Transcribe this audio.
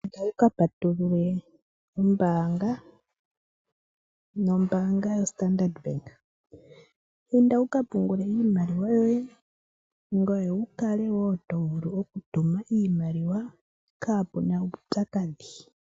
Inda wukapatulule okambo koye kombaanga opamwe nombaanga yaStandard. Shika otashi ku kwathele opo wu kale to vulu okutuma iimaliwa yoye kaapu na uupyakadhi.